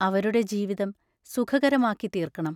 അവരുടെ ജീവിതം സുഖകരമാക്കിത്തീർക്കണം.